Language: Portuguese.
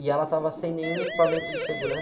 E ela estava sem nenhum equipamento de segurança.